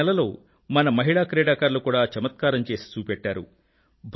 గత నెలలో మన మహిళా క్రీడాకారులు కూడా చమత్కారం చేసి చూపెట్టారు